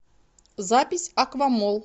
запись аквамолл